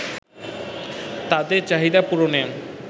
তাদের চাহিদা পূরণে